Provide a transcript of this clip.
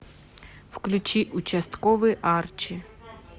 включи участковый арчи